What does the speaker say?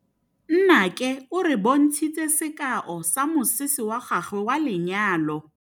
Nnake o re bontshitse sekaô sa mosese wa gagwe wa lenyalo.